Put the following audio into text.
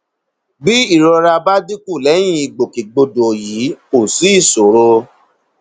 bí ìrora bá dínkù lẹyìn ìgbòkègbodò yìí kò sí ìṣòro